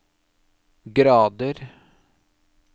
grader